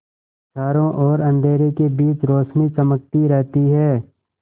चारों ओर अंधेरे के बीच रौशनी चमकती रहती है